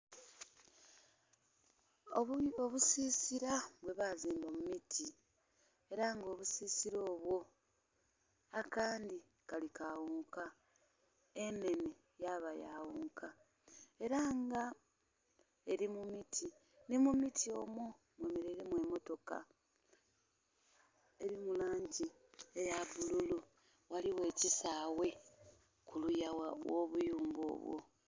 Obusisila bwebazimba mu miti era nga obusisila obwo akandi kali ka ghonka, enhenhe yaba ya ghonka era nga eli mu miti, ni mu miti omwo mwemeleilemu emmotoka eli mu langi eya bululu. Ghaligho ekisaawe kuluya gh'obuyumba obwo